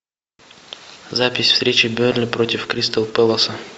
запись встречи бернли против кристал пэласа